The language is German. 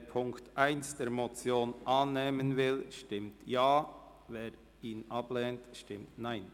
Wer die Ziffer 1 der Motion annehmen will, stimmt Ja, wer diese ablehnt, stimmt Nein.